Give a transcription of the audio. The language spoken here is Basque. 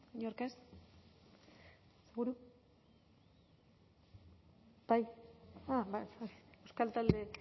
inork ez ba